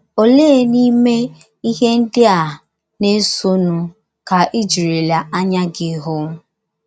Ole n’ime ihe ndị a na - esonụ ka i jirila anya gị hụ?